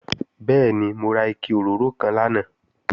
Bẹ́ẹ̀ni, mo ra ike òróró kan lánàá